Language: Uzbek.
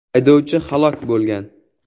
Haydovchi halok bo‘lgan.